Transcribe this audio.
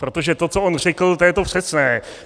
Protože to, co on řekl, to je to přesné.